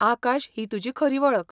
आकाश ही तुजी खरी वळख.